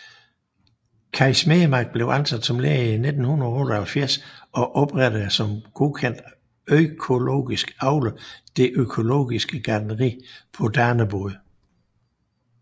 Kaj Smedemark blev ansat som lærer i 1978 og oprettede som godkendt økologisk avler det økologiske gartneri på Danebod